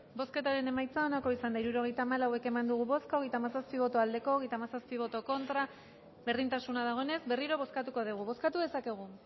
bozketaren emaitza onako izan da hirurogeita hamalau eman dugu bozka hogeita hemezortzi boto aldekoa treinta y siete contra berdintasuna dagoenez berriro bozkatuko dugu bozkatu dezakegu